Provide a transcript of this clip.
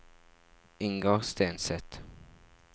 Ingar Stenseth